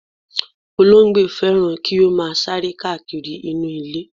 Olóńgbò fẹ́ràn kí ó máa sáré káàkiri nínú ilé.